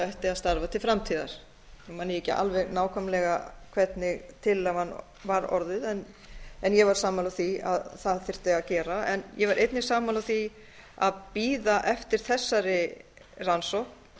ætti að starfa til framtíðar nú man ég ekki alveg nákvæmlega hvernig tillagan var orðuð en ég var sammála því að það þyrfti að gera ég var einnig sammála því að bíða eftir þessari rannsókn